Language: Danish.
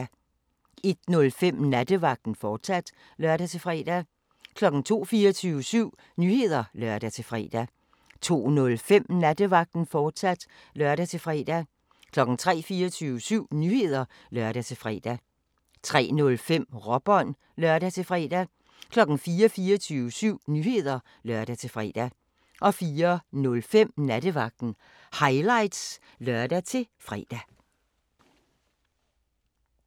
01:05: Nattevagten, fortsat (lør-fre) 02:00: 24syv Nyheder (lør-fre) 02:05: Nattevagten, fortsat (lør-fre) 03:00: 24syv Nyheder (lør-fre) 03:05: Råbånd (lør-fre) 04:00: 24syv Nyheder (lør-fre) 04:05: Nattevagten Highlights (lør-fre)